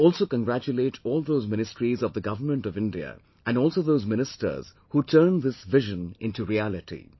I also congratulate all those Ministries of the Government of India and also those ministers who turned this vision into reality